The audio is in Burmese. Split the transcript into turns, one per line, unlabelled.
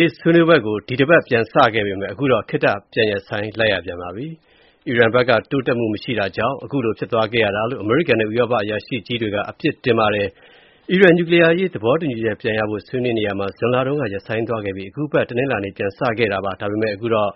ေး ဆွေးနွေးပွဲကို ဒီတပတ် ပြန်စခဲ့ပေမယ့် အခုတော့ ခေတ္တပြန်ရပ်ဆိုင်းလိုက်ရပါတယ်။ အီရန်ဘက်က တိုးတက်မှု မရှိလာတာကြောင့်လို့ အခုလို ဖြစ်သွားတာလို့ အမေရိကန်နဲ့ ဥရောပအရာရှိကြီးတွေက ပြစ်တင်ပါတယ်။ အီရန် နျူကလီးယား သဘောတူညီချက်ပြန်ရဖို့ ဆွေးနွေးနေရာမှာ ဇွန်လတုန်းက ရပ်ဆိုင်းသွားပြီး အခုအပတ် တနင်္လာနေ့ ပြန်စခဲ့တာပါ။ ဒါပေမယ့် အခုတော့